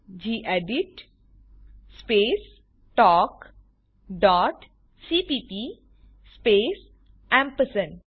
gedit space talk dot cpp space ampersand